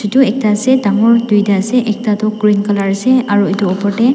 edu ekta ase dangor duita ase ekta toh green color ase aro edu opor de--